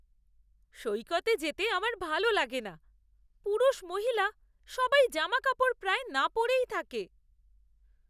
সৈকতে যেতে আমার ভালো লাগে না। পুরুষ মহিলা সবাই জামাকাপড় প্রায় না পরেই থাকে।